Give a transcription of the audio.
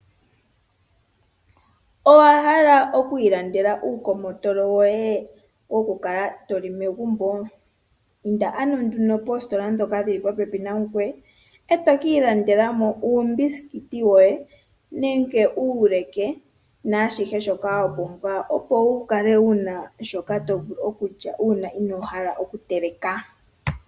Owahala oku ilandela uukomotola woye wokukala toli megumbo, inda nduno poostola dhoka dhili popepi nangoye etoki ilandelamo uubisikiti woye nenge uuleke naashishe shoka wapumbwa opo wu kale wuna shoka tovulu okulya uuna inohala oku teleka.